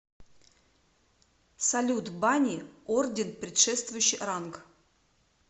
салют бани орден предшествующий ранг